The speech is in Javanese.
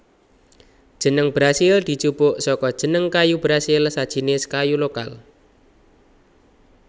Jeneng Brasil dijupuk saka jeneng kayu brasil sajinis kayu lokal